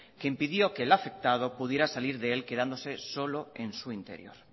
que impidió que el afectado pudiera salir de él quedándose solo en su interior